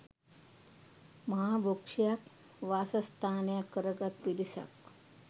මහා වෘක්ෂයක් වාසස්ථානයක් කර ගත් පිරිසක්